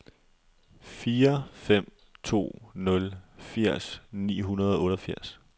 fire fem to nul firs ni hundrede og otteogfirs